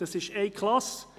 Das ist eine Klasse.